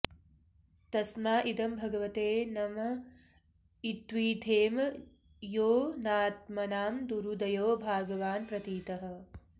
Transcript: तस्मा इदं भगवते नम इद्विधेम योऽनात्मनां दुरुदयो भगवान् प्रतीतः